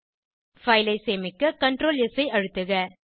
file ஐ சேமிக்க Ctrl S ஐ அழுத்துக